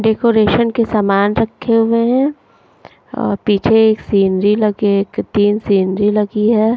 Decoration के सामान रखे हुए हैं और पीछे एक सीनरी लगे एक तीन सीनरी लगी है।